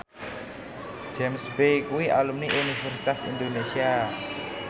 James Bay kuwi alumni Universitas Indonesia